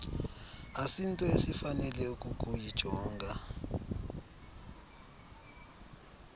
asinto esifanele kukuyijonga